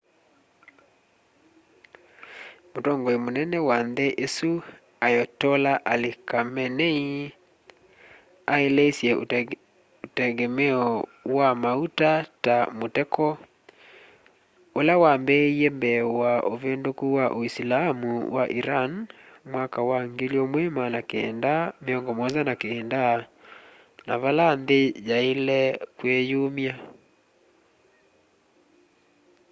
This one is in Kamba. mutongoi mũnene wa nthĩ ĩsũ ayotollah ali khameneĩ aeleĩsye ũtengemeo wa maũta ta mũteko ũla wambĩĩe mbee wa ũvĩndũkũ wa ũĩsilamũ wa ĩran mwaka wa 1979 na vala nthĩ yaĩle kwĩyũmya